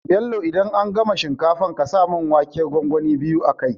Bello idan an gama shinkafar ƙasa mun waken gwangwani a kai